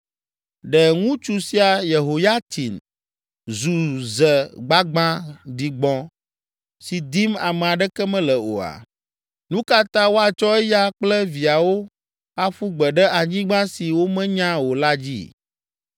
Ɖe ŋutsu sia Yehoyatsin zu ze gbagbã ɖigbɔ̃ si dim ame aɖeke mele oa? Nu ka ta woatsɔ eya kple viawo aƒu gbe ɖe anyigba si womenya o la dzi?